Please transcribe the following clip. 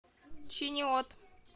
чиниот